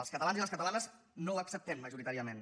els catalans i les catalanes no ho acceptem majoritàriament